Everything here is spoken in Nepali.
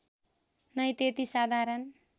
नै त्यति साधारण